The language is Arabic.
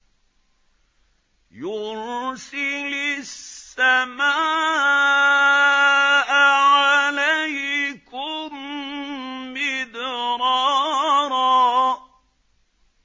يُرْسِلِ السَّمَاءَ عَلَيْكُم مِّدْرَارًا